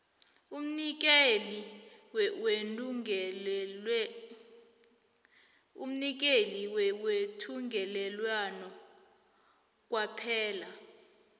umnikeli wethungelelwano kwaphela